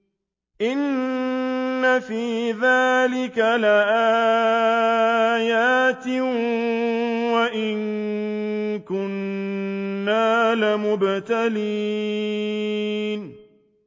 إِنَّ فِي ذَٰلِكَ لَآيَاتٍ وَإِن كُنَّا لَمُبْتَلِينَ